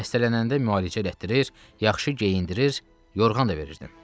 Xəstələnəndə müalicə elətdirir, yaxşı geyindirir, yorğan da verirdim.